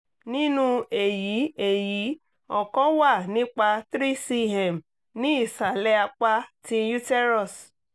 ninu eyi eyi ọkan wà nipa 3cm ni isalẹ apa ti uterus